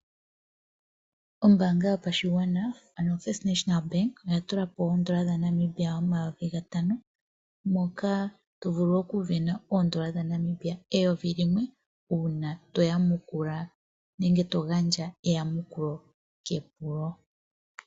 Ombaanga yopashigwana ano First National Bank oya tulapo N$5000 moka tovulu okusindana N$1000 uuna toyamukulu nenge togandja etamukulo kepulo.